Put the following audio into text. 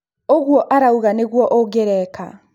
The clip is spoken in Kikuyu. ũguo urauga nĩguo ungĩreka.